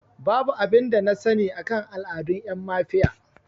Babu abin da na sani akan al'adun ƴan mafiya